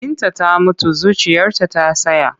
Binta ta mutu zuciyarta ta tsaya.